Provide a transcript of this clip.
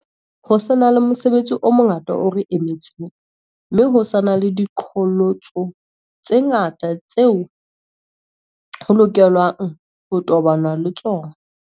Ho sa na le mosebetsi o mongata o re emetseng, mme ho sa na le diqholotso tse ngata tseo ho lokelwa ng ho tobanwa le tsona.